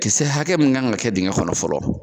Kisɛ hakɛ min kan ka kɛ dengɛ kɔnɔ fɔlɔ